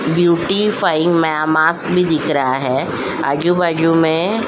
beauty fine म mask भी दिख रहा है आजू-बाजू में --